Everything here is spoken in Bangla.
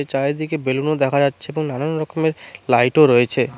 চারিদিকে বেলুনও দেখা যাচ্ছে এবং নানান রকমের লাইটও রয়েছে।